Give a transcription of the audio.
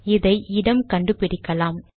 இதை இடம் கண்டு பிடிக்கலாம்